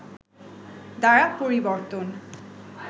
দ্বারা পরিবর্তন